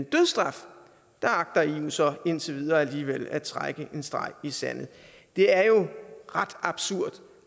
dødsstraf agter eu så indtil videre alligevel at trække en streg i sandet det er jo ret absurd